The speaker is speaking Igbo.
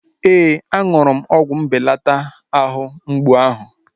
Ee, aṅụrụ m ọgwụ mbelata àhú mgbụ áhụ̀